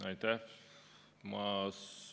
Aitäh!